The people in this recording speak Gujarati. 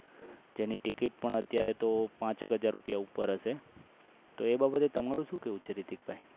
જેની ticket પણ હમ અત્યારે પાંચેક હજારની ઉપર હશે તો એ બાબતે તમારું કેવું છે રીતિક ભાઈ